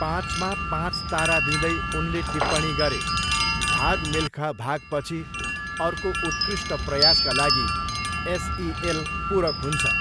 पाँचमा पाँच तारा दिँदै उनले टिप्पणी गरे, 'भाग मिल्खा भाग'पछि अर्को उत्कृष्ट प्रयासका लागि एस ई एल पूरक हुन्छ।